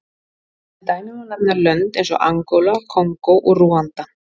Sem dæmi má nefna lönd eins og Angóla, Kongó og Rúanda.